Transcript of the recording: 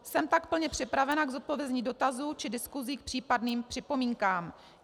Jsem pak plně připravena k zodpovězení dotazů či diskusi k případným připomínkám.